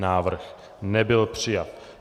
Návrh nebyl přijat.